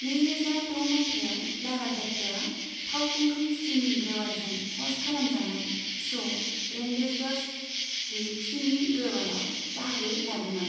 नैरोजा द' मायथाइयाव लारा दत्तआ फावखुंग्रि सिमी ग्रेवालजों ह'स्ट खालामजानाय श' 'रेण्डेजवास विथ सिमी ग्रेवाल'आव बाहागो लादोंमोन।